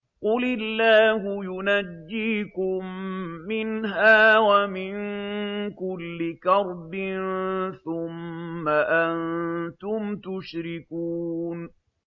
قُلِ اللَّهُ يُنَجِّيكُم مِّنْهَا وَمِن كُلِّ كَرْبٍ ثُمَّ أَنتُمْ تُشْرِكُونَ